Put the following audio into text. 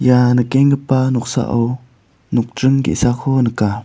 ia nikenggipa noksao nokdring ge·sako nika.